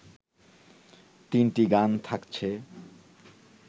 তিনটি গান থাকছে